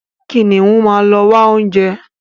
Kìnìún máa ń ló wá oúnjẹ.